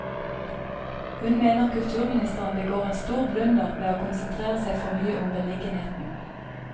Hun mener kulturministeren begår en stor blunder ved å konsentrere seg for mye om beliggenheten.